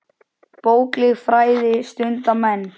Bókleg fræði stunda menn.